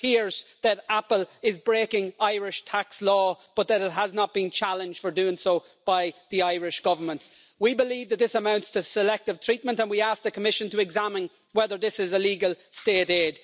It appears that Apple is breaking Irish tax law but that it has not been challenged for doing so by the Irish Government. We believe that this amounts to selective treatment and we ask the Commission to examine whether this is illegal state aid.